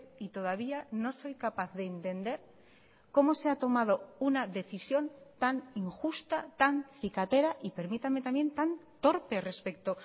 y todavía no soy capaz de entendercómo se ha tomado una decisión tan injusta tan cicatera y permítame también tan torpe respecto